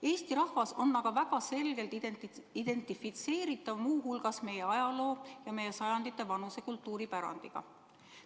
Eesti rahvas on aga väga selgelt identifitseeritav, lähtudes muu hulgas meie ajaloost ja meie sajanditevanusest kultuuripärandist.